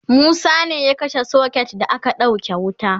Musa ne ya kashe socket da aka sauke wuta